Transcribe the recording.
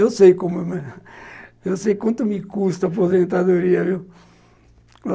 Eu sei como... eu sei quanto me custa a aposentadoria, viu?